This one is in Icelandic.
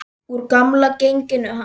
Úr gamla genginu hans.